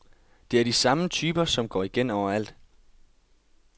Det er de samme typer, som går igen overalt.